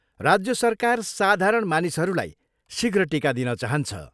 राज्य सरकार साधारण मानिसहरूलाई शीघ्र टिका दिन चाहन्छ।